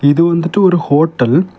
இது வந்துட்டு ஒரு ஹோட்டல் .